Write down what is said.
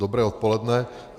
Dobré odpoledne.